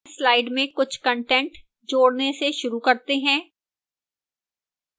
slide में कुछ content जोड़ने से शुरू करते हैं